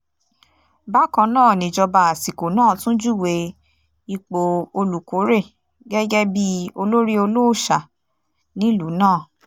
bákan náà nìjọba àsìkò náà tún júwe ipò olùkórè gẹ́gẹ́ bíi olórí olóòṣà nílùú náà